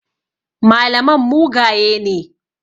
Malaman mugaye ne.